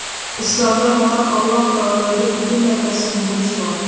Islomda faqat Alloh taologa butunlay taslim bo‘lish bor.